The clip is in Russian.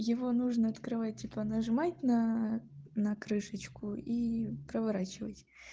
его нужно открывать типа нажимать на на крышечку и проворачивать